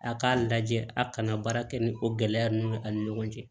A k'a lajɛ a kana baara kɛ ni o gɛlɛya ninnu ye ani ɲɔgɔn cɛ